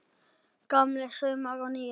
Gamlir saumar og nýir